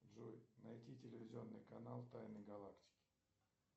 джой найди телевизионный канал тайны галактики